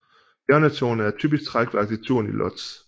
Hjørnetårnet er et typisk træk ved arkitekturen i Łódź